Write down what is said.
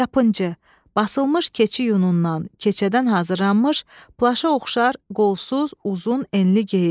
Yapıncı, basılmış keçi yunundan, keçədən hazırlanmış, plaşa oxşar, qolsuz, uzun, enli geyim.